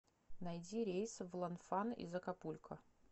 найди рейс в ланфан из акапулько